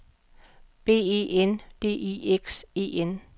B E N D I X E N